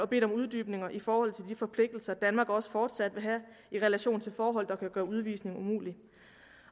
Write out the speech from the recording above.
bedt om uddybninger i forhold til de forpligtelser danmark også fortsat vil have i relation til forhold der kan gøre udvisning umulig